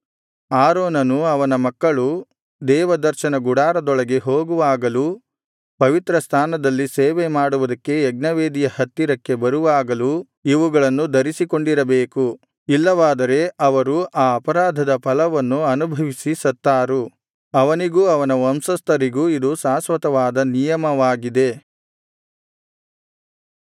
ಆರೋನನೂ ಅವನ ಮಕ್ಕಳೂ ದೇವದರ್ಶನ ಗುಡಾರದೊಳಗೆ ಹೋಗುವಾಗಲೂ ಪವಿತ್ರಸ್ಥಾನದಲ್ಲಿ ಸೇವೆಮಾಡುವುದಕ್ಕೆ ಯಜ್ಞವೇದಿಯ ಹತ್ತಿರಕ್ಕೆ ಬರುವಾಗಲೂ ಇವುಗಳನ್ನು ಧರಿಸಿಕೊಂಡಿರಬೇಕು ಇಲ್ಲವಾದರೆ ಅವರು ಆ ಅಪರಾಧದ ಫಲವನ್ನು ಅನುಭವಿಸಿ ಸತ್ತಾರು ಅವನಿಗೂ ಅವನ ವಂಶಸ್ಥರಿಗೂ ಇದು ಶಾಶ್ವತವಾದ ನಿಯಮವಾಗಿದೆ